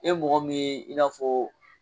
E mɔgɔ mun ye i n'a fɔ.